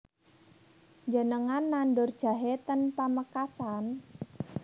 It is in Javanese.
Njenengan nandur jahe ten Pamekasan?